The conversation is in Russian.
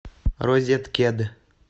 розеткед